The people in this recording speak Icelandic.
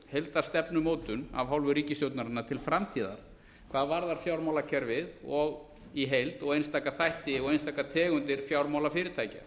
heildarstefnumótun af hálfu ríkisstjórnarinnar til framtíðar hvað varðar fjármálakerfið í heild og einstaka þætti og einstakar tegundir fjármálafyrirtækja